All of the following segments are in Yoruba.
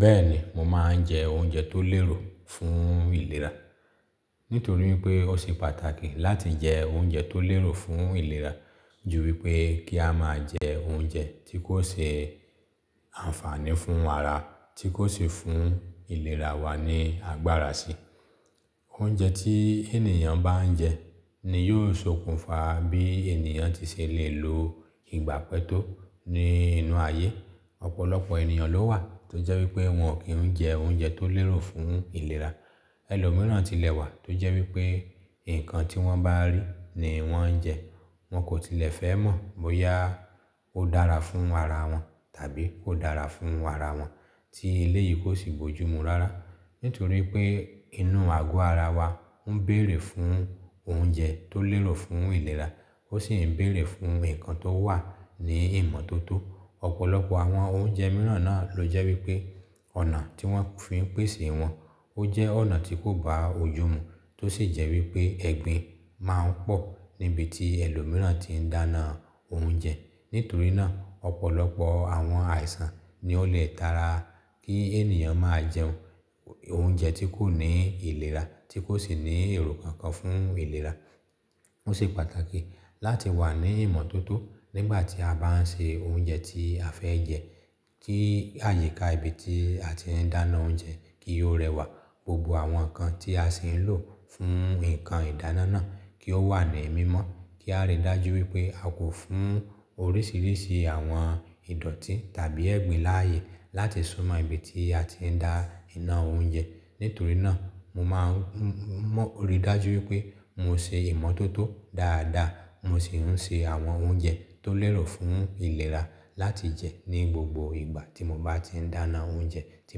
Bẹ́ẹ̀ni, mo máa ń jẹ oúnjẹ tó lérò fún ìlera. Nítorí pé ó ṣe pàtàkì láti jẹ oúnjẹ tó lérò fún ìlera ju wípé kí a máa jẹ oúnjẹ tí kò ṣe ànfààní fún ara, tí kò sì fún ìlera wa ní agbára sí. Oúnjẹ tí ènìyàn bá ń jẹ ni yóò ṣokùnfà bí ènìyàn tí ṣe lè lo ìgbà pẹ́ tó ní inú ayé. Ọ̀pọ̀lọpọ̀ ènìyàn ló wà tó jẹ́ wípé wọn kì ń jẹ oúnjẹ tó lérò fún ìlera. Ẹ̀lòmíràn tilẹ̀ wà tó jẹ́ wípé nǹkan tí wọ́n bá rí ni wọ́n ń jẹ. Wọn kò tilẹ̀ fẹ́ mọ̀ bóyá ó dára fún ara wọn tàbí kò dára fún ara wọn tí eléyìí kò sì bojú mu rárá. Nítorí pé inú àgọ́ ara wa ń bèrè fún oúnjẹ tó lérò fún ìlera, ó sì ń bèrè fún nǹkan tó wà ní ìmọ́tótó. Ọ̀pọ̀lọpọ̀ àwọn oúnjẹ mìíràn náà ló jẹ́ wípé ọ̀nà tí wọ́n fi ń pèsè wọn, ó jẹ́ ọ̀nà tí kò bá ojú mu tó sì jẹ́ wípé ẹ̀gbin máa ń pọ̀ níbi tí ẹlòmíràn tí ń dáná oúnjẹ. Nítorí náà, ọ̀pọ̀lọpọ̀ àwọn àìsàn ni ó lè tara kí ènìyàn máa jẹ oúnjẹ tí kò ní ìlera, tí kò sì ní èrò kankan fún ìlera. Ó ṣe pàtàkì láti wà ní ìmọ́tótó nígbà tí a bá ń ṣe oúnjẹ tí a fẹ́ jẹ kí àyíká ibi tí a ti ń dáná oúnjẹ kí ó rẹwà. Gbogbo àwọn ǹkan tí a sì ń lò fún nǹkan ìdáná náà kí ó wà ní mímọ́. Kí a rí dájú wípé a kò fún oríṣìíríṣìí àwọn ìdọ̀tí tàbí ẹ̀gbin láàyè láti súnmọ́ ibi tí a ti ń dá iná oúnjẹ. Nítorí náà, mo máa ń mọ̀ rí dájú wípé mo ṣe ìmọ́tótó dáadáa, mo sì ń ṣe àwọn oúnjẹ tó lérò fún ìlera láti jẹ ní gbogbo ìgbà tí mo bá ti ń dáná oúnjẹ tí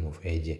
mo fẹ́ jẹ.